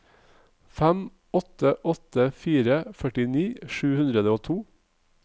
fem åtte åtte fire førti sju hundre og to